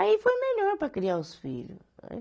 Aí foi melhor para criar os filho.